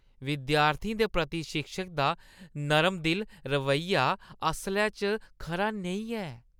विद्यार्थियें दे प्रति शिक्षक दा नरमदिल रवैया असलै च खरा नेईं ऐ।